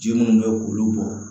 Ji munnu bɛ k'olu bɔ